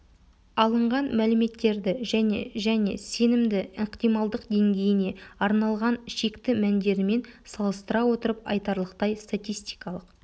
алынған мәліметтерді және және сенімді ықтималдық деңгейіне арналған шекті мәндерімен салыстыра отырып айтарлықтай статистикалық